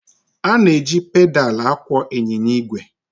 A na-eji pedaal akwọ ịnyịnya igwe.